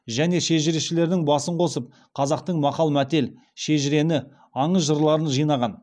және шежірешілерінің басын қосып қазақтың мақал мәтел шежірне аңыз жырларын жинаған